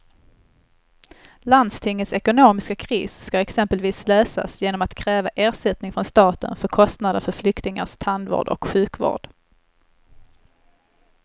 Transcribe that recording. Landstingets ekonomiska kris ska exempelvis lösas genom att kräva ersättning från staten för kostnader för flyktingars tandvård och sjukvård.